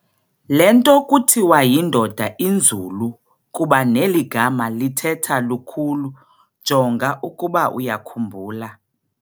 Lento kuthiwa yindoda inzulu kuba neligama lithetha lukhulu, jonga ukuba uyakhumbula